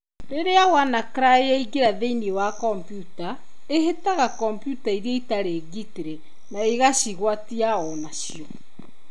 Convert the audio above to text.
Rĩrĩa WannaCry yaingĩra thĩinĩ wa kompiuta, ĩhĩtaga kompiuta iria itarĩ ngitĩrĩ na ĩgacigwatia ũna cio.